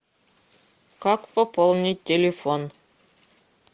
как пополнить телефон